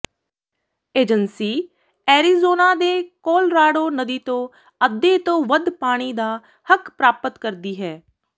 agency Arizona ਦੇ Colorado ਨਦੀ ਤੋਂ ਅੱਧੇ ਤੋਂ ਵੱਧ ਪਾਣੀ ਦਾ ਹੱਕ ਪ੍ਰਾਪਤ ਕਰਦੀ ਹੈ